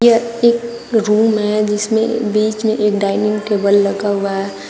यह एक रूम है जिसमें बीच में एक डाइनिंग टेबल लगा हुआ है।